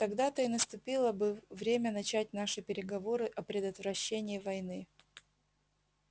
тогда-то и наступило бы время начать наши переговоры о предотвращении войны